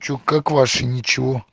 что как ваше ничего